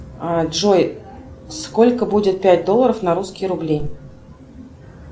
джой сколько будет пять долларов на русские рубли